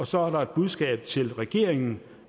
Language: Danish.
så er der et budskab til regeringen